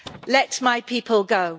Let my people go.